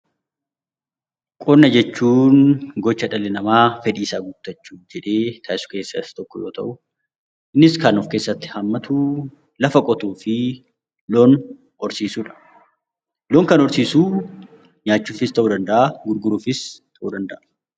Qonna jechuun gocha dhalli namaa fedhii isaa guuttachuuf jedhee taasisu keessaa Isa tokko yoo ta'u, innis kan of keessatti hammatu lafa qotuu fi loon horsiisuudha. Loon kan horsiisu nyaachuufis ta'uu danda'a gurguruufis ta'uu danda'a.